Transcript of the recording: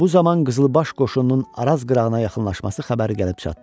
Bu zaman qızılbaş qoşununun Araz qırağına yaxınlaşması xəbəri gəlib çatdı.